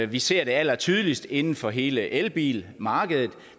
vi ser det allertydeligst inden for hele elbilmarkedet